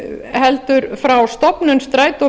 heldur frá stofnun strætó